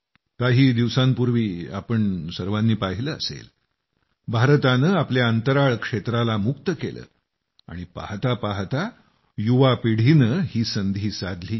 काही दिवसांपूर्वी तुम्ही सर्वांनी पाहिलं असेल भारताने आपल्या अंतराळ क्षेत्राला मुक्त केलं आणि पाहता पाहता युवा पिढीनं ही संधी साधली